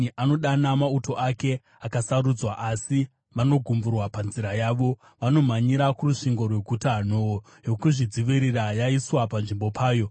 Anodana mauto ake akasarudzwa, asi vanogumburwa panzira yavo. Vanomhanyira kurusvingo rweguta; nhoo yokuzvidzivirira yaiswa panzvimbo payo.